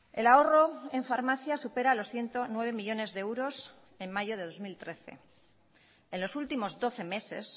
el ahorro en farmacias supera los ciento nueve millónes de euros en mayo de dos mil trece en los últimos doce meses